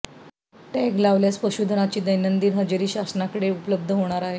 tag लावल्यास पशुधनाची दैनंदिन हजेरी शासनाकडे उपलब्ध होणार आहे